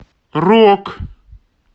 рок